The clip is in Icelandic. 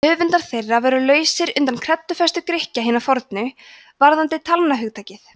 höfundar þeirra voru lausir undan kreddufestu grikkja hinna fornu varðandi talnahugtakið